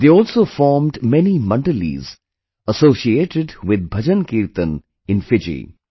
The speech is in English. They also formed many Mandalis associated with bhajankirtan in Fiji